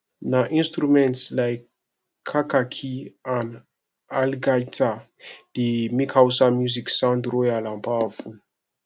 na instruments like kakaki and algaita dey make hausa music sound royal and powerful